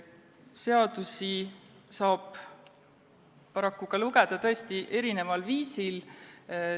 Seadusi saab paraku lugeda tõesti erineval viisil.